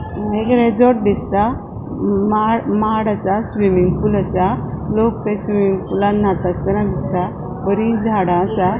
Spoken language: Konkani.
हांगा एक रिज़ॉर्ट दिसता म माड असा स्विमिंग पूल असा लोक ते स्विमिंग पुलान नातासताना दिसता बरी झाड़ा असा.